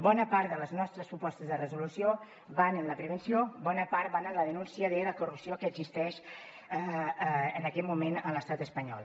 bona part de les nostres propostes de resolució van en la prevenció bona part van en la denúncia de la corrupció que existeix en aquest moment a l’estat espanyol